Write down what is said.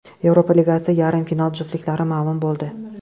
Yevropa Ligasi yarim final juftliklari ma’lum bo‘ldi.